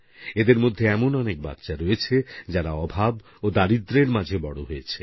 এদের মধ্যে এমন অনেক বাচ্চা রয়েছে যারা অভাব ও দারিদ্র্যের মাঝে বড় হয়েছে